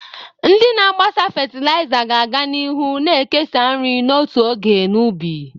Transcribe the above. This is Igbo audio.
Ndị na-agbasa fatịlaịza ga-aga n'ihu na-ekesa nri n'otu oge na ubi.